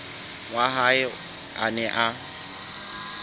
wa hae a neng a